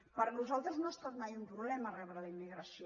per nosaltres no ha estat mai un problema rebre la immigració